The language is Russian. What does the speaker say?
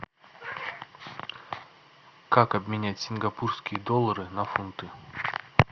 как обменять сингапурские доллары на фунты